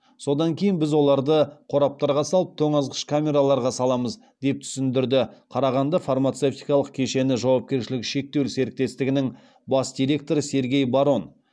содан кейін біз оларды қораптарға салып тоңазытқыш камераларға саламыз деп түсіндірді қарағанды фармацевтикалық кешені жауапкершілігі шектеулі серіктестігінің бас директоры сергей барон